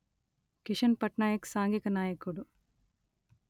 కిషన్ పట్నాయక్ సాంఘిక నాయకుడు